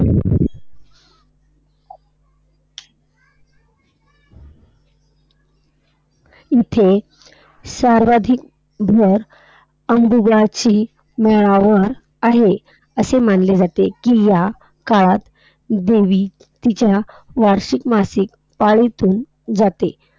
इथे सर्वाधिक भर अनुभवाची मळावर आहे. असे मानले जाते, कि या काळात देवी तिच्या वार्षिक मासिक पाळीतून जाते.